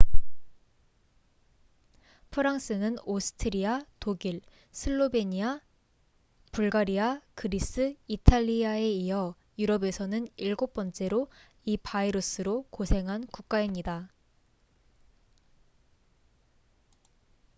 프랑스는 오스트리아 독일 슬로베니아 불가리아 그리스 이탈리아에 이어 유럽에서는 7번째로 이 바이러스로 고생한 국가입니다